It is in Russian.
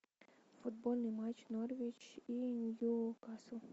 футбольный матч норвич и ньюкасл